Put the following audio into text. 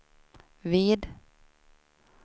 vid